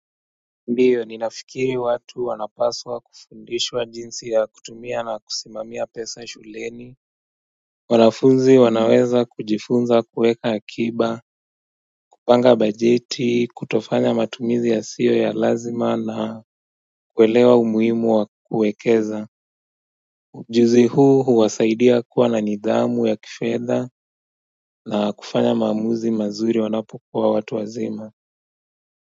Ndio ninafikiri watu wanapaswa kufundishwa jinsi ya kutumia na kusimamia pesa shuleni wanafunzi wanaweza kujifunza kuweka akiba kupanga bajeti kutofanya matumizi yasio ya lazima na kuelewa umuhimu wa kuwekeza ujuzi huu huwasaidia kuwa na nidhamu ya kifedha na kufanya maamuzi mazuri wanapokuwa watu wazima.